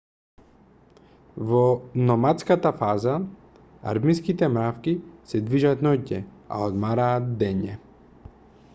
во номадската фаза армиските мравки се движат ноќе а одмораат дење